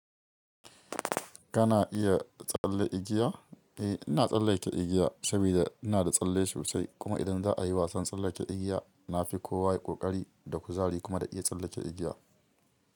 Kana iya tsalle igiya? Eh ina tsallake igiya sabida ina da tsalle sosai kuma idan za a yi wasan tsallake igiya, na fi kowa ƙoƙari da kuzari kuma na iya tsallake igiya.